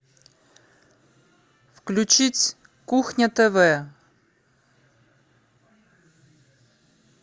включить кухня тв